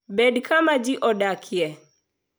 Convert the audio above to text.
Bed kama ji odakie.